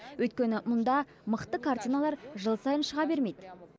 өйткені мұнда мықты картиналар жыл сайын шыға бермейді